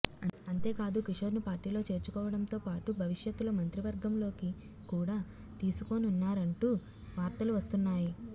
అంతేకాదు కిశోర్ను పార్టీలో చేర్చుకోవడంతో పాటు భవిష్యత్తులో మంత్రివర్గంలోకి కూడా తీసుకోనున్నారంటూ వార్తలు వస్తున్నాయి